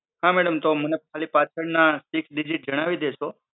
હા madam તો મને પાછળના six digit જણાવી દેશો?